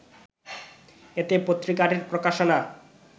এতে পত্রিকাটির প্রকাশনা